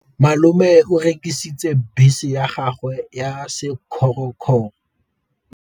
Malome o rekisitse bese ya gagwe ya sekgorokgoro.